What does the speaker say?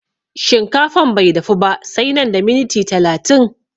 Shinkafan bai dafu ba sai nan da miniti talatin